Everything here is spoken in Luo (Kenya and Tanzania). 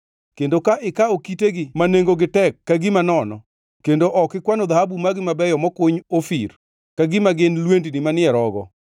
kendo ka ikawo kitegi ma nengogi tek ka gima nono kendo ok ikwano dhahabu magi mabeyo mokuny Ofir ka gima gin lwendni manie rogo,